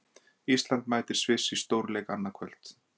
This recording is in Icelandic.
Ísland mætir Sviss í stórleik annað kvöld.